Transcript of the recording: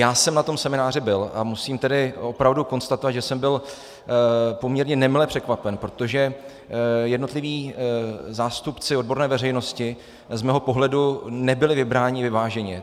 Já jsem na tom semináři byl a musím tedy opravdu konstatovat, že jsem byl poměrně nemile překvapen, protože jednotliví zástupci odborné veřejnosti z mého pohledu nebyli vybráni vyváženě.